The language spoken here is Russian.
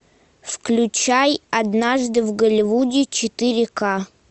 включай однажды в голливуде четыре ка